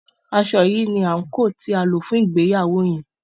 aṣọ yí ní anko tí a lò fún ìgbéyàwó yen